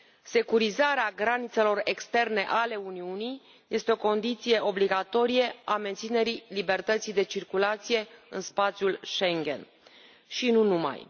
Securizarea granițelor externe ale Uniunii este o condiție obligatorie a menținerii libertății de circulație în spațiul Schengen și nu numai.